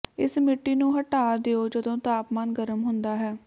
ਇਸ ਮਿੱਟੀ ਨੂੰ ਹਟਾ ਦਿਓ ਜਦੋਂ ਤਾਪਮਾਨ ਗਰਮ ਹੁੰਦਾ ਹੈ